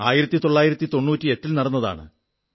1998 ൽ നടന്നതാണ്